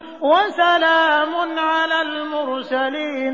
وَسَلَامٌ عَلَى الْمُرْسَلِينَ